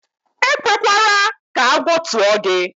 E kwekwara ka agwọ tụọ gị.